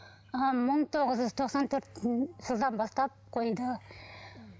ы мың тоғыз жүз тоқсан төртінші жылдан бастап қойды